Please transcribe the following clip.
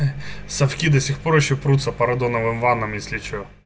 совки до сих пор ещё крутится по радоновым ваннам если что